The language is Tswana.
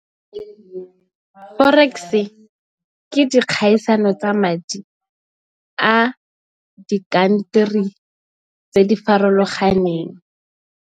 Ee Forex ke dikgaisano tsa madi a dinaga di tse di farologaneng.